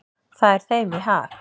Það er þeim í hag.